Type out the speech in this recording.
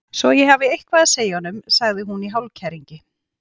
Svo ég hafi eitthvað að segja honum, sagði hún í hálfkæringi.